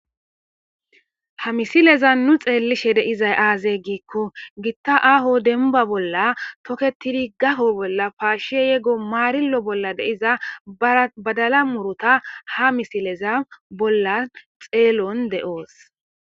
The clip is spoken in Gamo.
ha misileza nu xeellishe deizay aazey ggiikko gitta aho denba bolla toketidi gafo bolla paashie yego maarillo bolla deiza badala murota ha misileza bollan xeelon de7oos